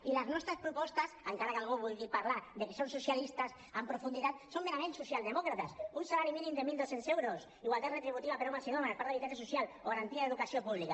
i les nostres propostes encara que algú vulgui parlar de que són socialistes en profunditat són merament socialdemòcrates un salari mínim de mil dos cents euros igualtat retributiva per a homes i dones parc d’habitatge social o garantia d’educació pública